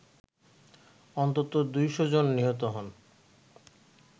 অন্তত ২শ’ জন নিহত হন